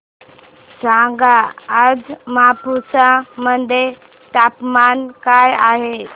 सांगा आज मापुसा मध्ये तापमान काय आहे